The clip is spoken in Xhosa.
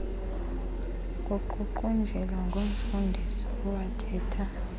kuququnjelwa ngumfundisi owathetha